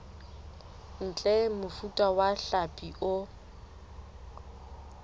ntle mofuta wa hlapi o